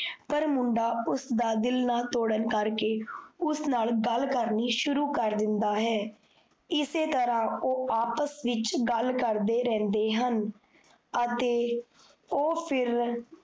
ਪਰ ਮੁੰਡਾ ਉਸ ਦਾ ਦਿੱਲ ਨਾ ਤੋੜਨ ਕਰਕੇ ਉਸ ਨਾਲ ਗੱਲ ਕਰਨੀ ਸ਼ੁਰੂ ਕਰ ਦਿੰਦਾ ਹੈ । ਇਸੇ ਤਰਾਂ ਓਹ ਆਪਸ ਵਿੱਚ ਗੱਲ ਕਰਦੇ ਰਹੰਦੇ ਹਨ। ਅਤੇ ਓਹ ਫਿਰ